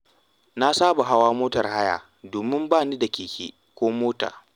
Na saba da hawa motar haya domin ba ni da keke ko mota.